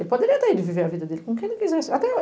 Ele poderia até viver a vida dele com quem ele quisesse. Até